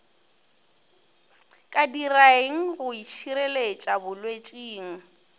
ka diraeng go itšhireletša bolwetšing